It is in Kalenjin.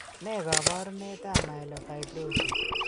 Ne kaabarunetap Myelofibrosis?